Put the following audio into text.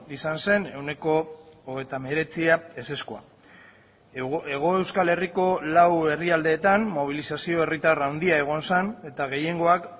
izan zen ehuneko hogeita hemeretzia ezezkoa hego euskal herriko lau herrialdeetan mobilizazio herritar handia egon zen eta gehiengoak